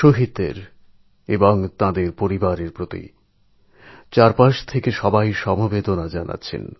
শহিদের এবং তাঁদের পরিবারের প্রতি চারিদিক থেকে সমবেদনার বার্তা আসছে